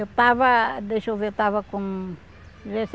Eu estava, deixa eu ver, eu estava com